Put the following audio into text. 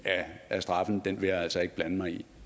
af straffen vil jeg altså ikke blande mig i